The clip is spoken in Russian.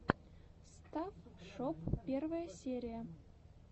стафф шоп первая серия